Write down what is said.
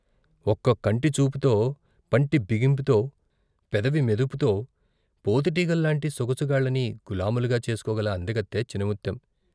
ఒక్క కంటిచూపుతో, పంటి బిగింపుతో, పెదవి మెదుపుతో పోతుటీగల్లాంటి సొగసుగాళ్ళని గులాములుగా చేసుకోగల అందగత్తె చినముత్తెం.